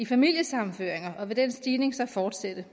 familiesammenføring og vil den stigning så fortsætte